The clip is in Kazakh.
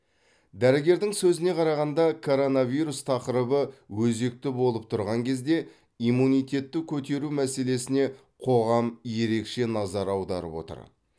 дәрігердің сөзіне қарағанда коронавирус тақырыбы өзекті болып тұрған кезде иммунитетті көтеру мәселесіне қоғам ерекше назар аударып отыр